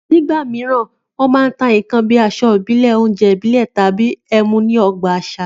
Nígbà mìíràn, wọn a máa ta nǹkan bí i aṣọ ìbílẹ̀, oúnjẹ ìbílẹ̀ tàbí ẹmu ní ọgbà àṣà